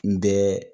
N bɛ